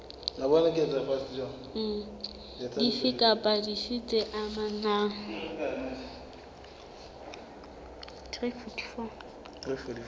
dife kapa dife tse amanang